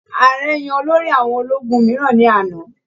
Ààrẹ yan olórí àwọn ológun mìíràn ní àná.